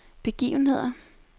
begivenheder